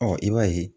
Ɔ i b'a ye